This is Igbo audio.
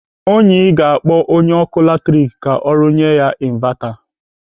Onyi ga-akpọ onye ọkụ latrik ka rụnyere ya invata.